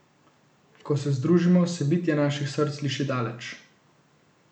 Ko se združimo, se bitje naših src sliši daleč.